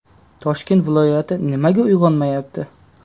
Toshkent viloyati nimaga uyg‘onmayapti?.